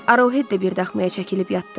Arohed də bir daxmaya çəkilib yatdı.